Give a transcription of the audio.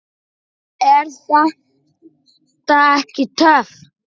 Er þetta ekki töff?